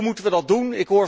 Hoe moeten we dat doen?